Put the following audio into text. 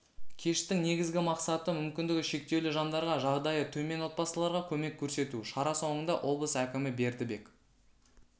кештің негізгі мақсаты мүмкіндігі шектеулі жандарға жағдайы төмен отбасыларға көмек көрсету шара соңында облыс әкімі бердібек